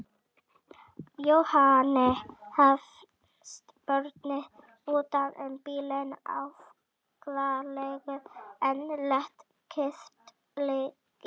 Jóhanni fannst borðinn utan um bílinn afkáralegur en lét kyrrt liggja.